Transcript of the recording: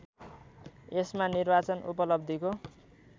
यसमा निर्वाचन उपलब्धिको